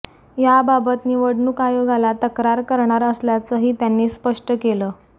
याबाबत निवडणूक आयोगाला तक्रार करणार असल्याचंही त्यांनी स्पष्ट केलं